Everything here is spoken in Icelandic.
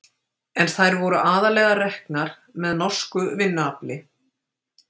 En þær voru aðallega reknar með norsku vinnuafli.